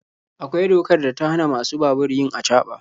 Akwai dokar da ta hana masu babur yin acaba.